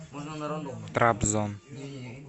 трабзон